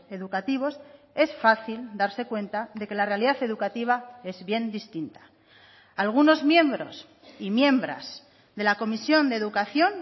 educativos es fácil darse cuenta de que la realidad educativa es bien distinta algunos miembros y miembras de la comisión de educación